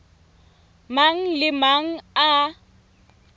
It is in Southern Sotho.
mang le a mang a